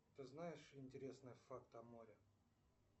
ты знаешь интересные факты о море